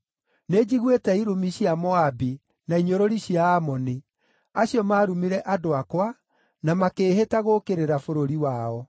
“Nĩnjiguĩte irumi cia Moabi na inyũrũri cia Aamoni, acio maarumire andũ akwa na makĩĩhĩta gũũkĩrĩra bũrũri wao.”